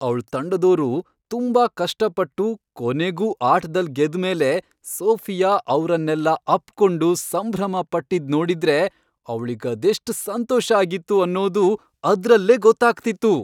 ಅವ್ಳ್ ತಂಡದೋರು ತುಂಬಾ ಕಷ್ಟಪಟ್ಟು ಕೊನೆಗೂ ಆಟ್ದಲ್ ಗೆದ್ಮೇಲೆ ಸೋಫಿಯಾ ಅವ್ರನ್ನೆಲ್ಲ ಅಪ್ಕೊಂಡು ಸಂಭ್ರಮ ಪಟ್ಟಿದ್ ನೋಡಿದ್ರೆ ಅವ್ಳಿಗದೆಷ್ಟ್ ಸಂತೋಷ ಆಗಿತ್ತು ಅನ್ನೋದು ಅದ್ರಲ್ಲೇ ಗೊತ್ತಾಗ್ತಿತ್ತು.